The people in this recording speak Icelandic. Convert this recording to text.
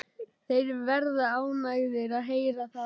Þeir verða ánægðir að heyra það.